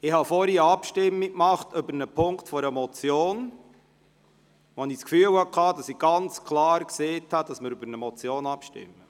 Ich habe vorhin eine Abstimmung über einen Punkt einer Motion durchgeführt und hatte dabei das Gefühl, ganz klar gesagt zu haben, dass wir über eine Motion abstimmen.